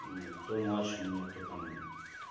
ну кто младше меня то там